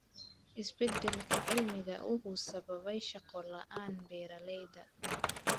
Isbeddelka cimilada wuxuu sababay shaqo la�aan beeraleyda.